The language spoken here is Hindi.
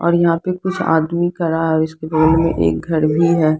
और यहाँ पे कुछ आदमी खड़ा है इसके बगल मे एक घर भी है।